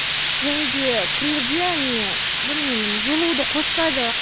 және де кірерде әне білмеймін жылуды қоспайды